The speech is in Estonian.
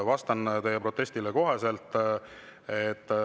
Vastan teie protestile kohe.